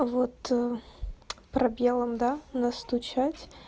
вот пробелом да настучать